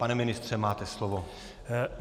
Pane ministře, máte slovo.